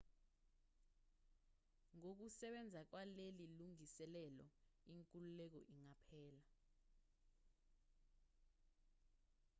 ngokusebenza kwaleli lungiselelo inkululeko ingaphela